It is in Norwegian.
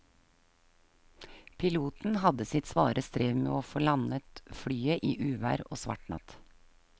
Piloten hadde sitt svare strev med å få landet flyet i uvær og svart natt.